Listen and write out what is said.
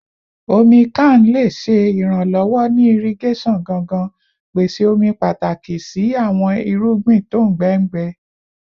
Omi kan le ṣe iranlọwọ ni irigeson gangan, pese omi pataki si awọn irugbin ongbẹ ngbẹ